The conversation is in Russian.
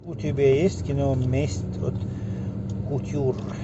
у тебя есть кино месть от кутюр